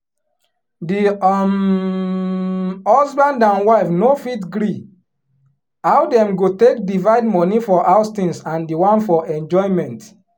di um husband and wife no fit gree how dem go take divide money for house tins and di one for enjoyment.